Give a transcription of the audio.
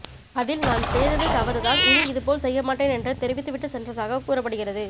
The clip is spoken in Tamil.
அதில் நான் செய்தது தவறு தான் இனி இது போல் செய்யமாட்டேன் என்று தெறிவித்துவிட்டு சென்றதாக கூறப்படுகிறது